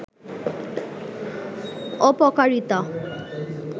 অপকারিতা